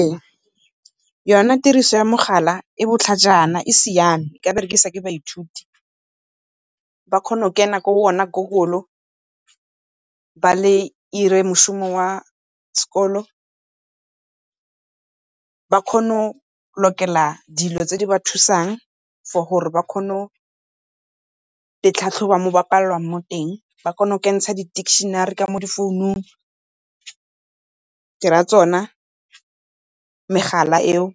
Ee, yone tiriso ya mogala e botlhajana, e siame, e ka berekisiwa ke baithuti ba kgona go kena ko go ona Google, ba le ire moshomo wa sekolo. Ba kgone go lokela dilo tse di ba thusang for gore ba kgone go itlhatlhoba fo ba palelwang teng. Ba kgona go tsenya di-dictionary mo di-founung ke ra tsona megala eo,